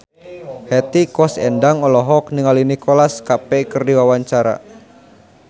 Hetty Koes Endang olohok ningali Nicholas Cafe keur diwawancara